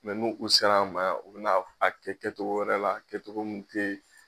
nun u sera an ma yan u bɛna kɛ kɛtogo wɛrɛ la kɛtogo min tɛ.